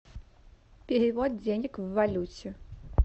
перевод денег в валюте